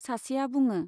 सासेआ बुङो।